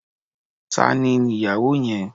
Tani ni ìyàwó yẹn?